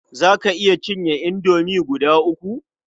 Za ka iya cinye indomie guda uku?